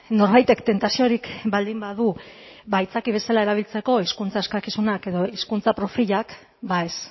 norbaitek tentaziorik baldin badu ba aitzaki bezala erabiltzeko hezkuntza eskakizunak edo hezkuntza profilak ba ez